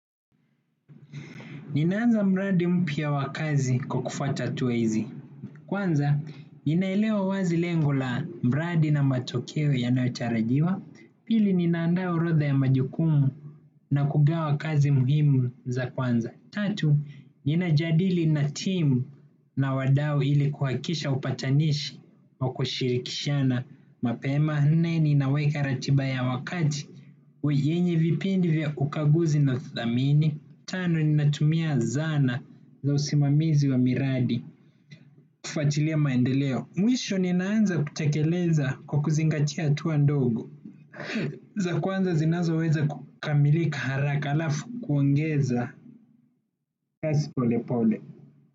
Ninaanza mradi mpya wa kazi kwa kufwata hatua hizi. Kwanza ninaelewa wazi lengo la mradi na matokeo yanayotarajiwa. Pili, ninaandaa orodha ya majukumu na kugawa kazi muhimu za kwanza. Tatu, ninajadili na timu na wadau ili kuhakisha upatanishi wa kushirikishana mapema. Nae ninaweka ratiba ya wakati yenye vipindi vya ukaguzi navithamini. Tano ninatumia zana za usimamizi wa miradi kufuatilia maendeleo. Mwisho ninaanza kutekeleza kwa kuzingatia hatua ndogo za kwanza zinaziweza kukamilika haraka halafu kuongeza kazi polepole.